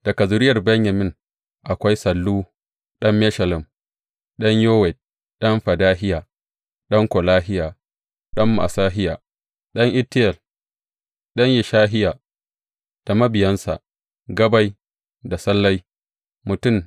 Daga zuriyar Benyamin akwai, Sallu ɗan Meshullam, ɗan Yowed, ɗan Fedahiya, ɗan Kolahiya, ɗan Ma’asehiya, ɗan Itiyel, ɗan Yeshahiya, da mabiyansa, Gabbai da Sallai, mutum